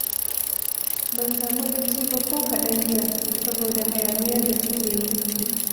Ban samu bacci ba ko kaɗan jiya, saboda hayaniyar da suke yi